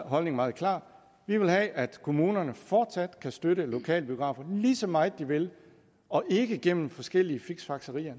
holdning meget klar vi vil have at kommunerne fortsat kan støtte lokalbiografer lige så meget de vil og ikke gennem forskellige fiksfakserier